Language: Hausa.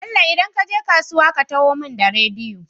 Bello idan kaje kasuwa ka taho mun da rediyo